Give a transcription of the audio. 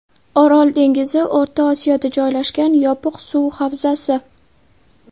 Orol dengizi O‘rta Osiyoda joylashgan yopiq suv havzasi.